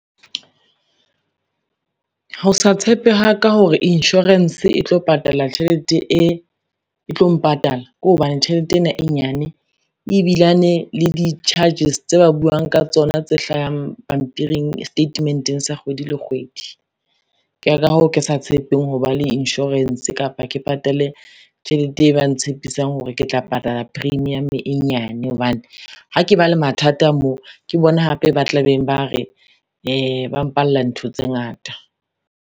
Ho sa tshepe ha ka hore insurance e tlo patala, tjhelete e tlo mpatala ke hobane tjhelete ena e nyane ebilane le di-charges tse ba buang ka tsona, tse hlahang pampiring setatementeng sa kgwedi le kgwedi. Ke ka hoo ke sa tshepeng ho ba le insurance kapa ke patale tjhelete e ba ntshepisang hore ke tla patala premium e nyane hobane ha ke ba le mathata mo, ke bona hape ba tla beng ba re ba mpalla ntho tse ngata.